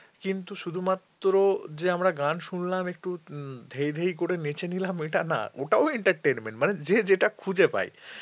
কিন্তু শুধুমাত্র যে আমরা গান শুনলাম একটু ধেই করে নেচে নিলাম ওইটা না ওটাও entertainment মানে যে যেটা খুঁজে পাই